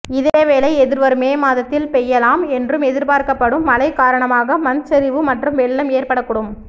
இதேவேளை எதிர்வரும் மே மாதத்தில் பெய்யலாம் என்று எதிர்பார்க்கப்படும் மழை காரணமாக மண்சரிவு மற்றும் வெள்ளம் ஏற்படக்கூடும்